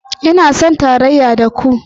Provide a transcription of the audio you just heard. Ina son tarayya da ku